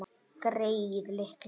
Greyið litla!